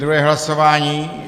Druhé hlasování.